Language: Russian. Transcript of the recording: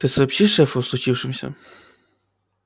ты сообщишь шефу о случившемся